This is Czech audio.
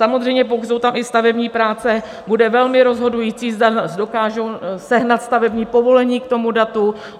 Samozřejmě pokud jsou tam i stavební práce, bude velmi rozhodující, zda dokážou sehnat stavební povolení k tomu datu.